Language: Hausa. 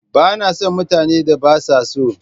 Ba na son mutanen da ba sa so.